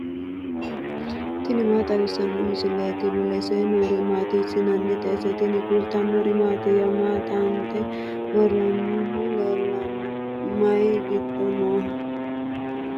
tini maa xawissanno misileeti ? mulese noori maati ? hiissinannite ise ? tini kultannori mattiya? Maa xaanxxe woroonnihu leelanno? mayi giddo nooho?